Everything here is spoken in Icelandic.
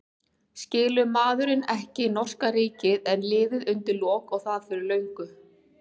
Skilur maðurinn ekki að norska ríkið er liðið undir lok og það fyrir löngu?